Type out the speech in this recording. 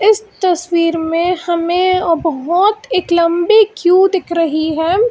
इस तस्वीर में हमें बहुत एक लंबी क्यू दिख रही है।